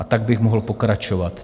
A tak bych mohl pokračovat.